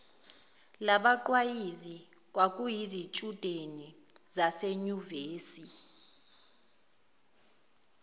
labaqwayizi kwakuyizitshudeni zasenyuvesi